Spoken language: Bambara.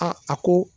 a ko